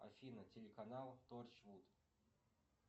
афина телеканал торчвуд